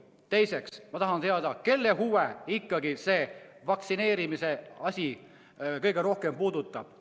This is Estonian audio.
Teiseks, ma tahan teada, kelle huve ikkagi see vaktsineerimise asi kõige rohkem puudutab.